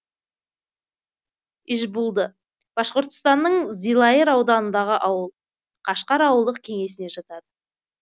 ижбулды башқұртстанның зилайыр ауданындағы ауыл кашкар ауылдық кеңесіне жатады